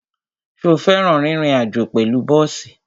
Ṣo fẹ́ràn rírin àjó pẹ̀lú bọ́ọ̀sì?